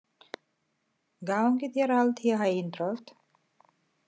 Gangi þér allt í haginn, Drótt.